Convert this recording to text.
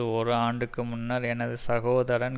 ஒரு ஆண்டுக்கு முன்னர் எனது சகோதரன்